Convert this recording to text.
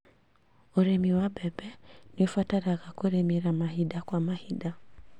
ũrĩmi wa mbembe nĩũbatara kũrĩmĩra mahinda kwa mahinda